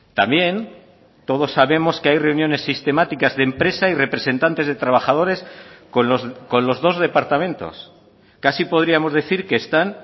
también todos sabemos que hay reuniones sistemáticas de empresa y representantes de trabajadores con los dos departamentos casi podríamos decir que están